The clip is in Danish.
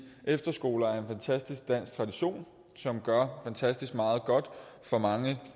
efterskoler er en fantastisk dansk tradition som gør fantastisk meget godt for mange